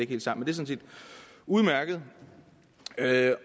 det er sådan set udmærket jeg